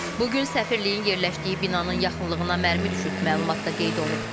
Bu gün səfirliyin yerləşdiyi binanın yaxınlığına mərmi düşüb, məlumatda qeyd olunub.